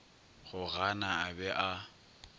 go gana a be a